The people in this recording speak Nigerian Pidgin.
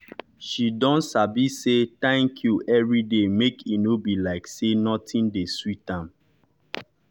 she don sabi say thanku every day make e nor be like say nothin de sweet am